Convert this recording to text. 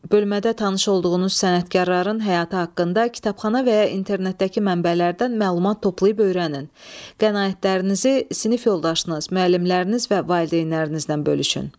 Bölmədə tanış olduğunuz sənətkarların həyatı haqqında kitabxana və ya internetdəki mənbələrdən məlumat toplayıb öyrənin, qənaətlərinizi sinif yoldaşınız, müəllimləriniz və valideynlərinizlə bölüşün.